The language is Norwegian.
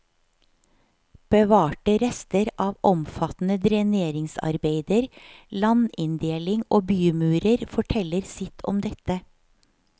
Bevarte rester av omfattende dreneringsarbeider, landinndeling og bymurer forteller sitt om dette.